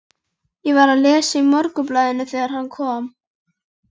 Ég var að lesa í Morgunblaðinu þegar hann kom.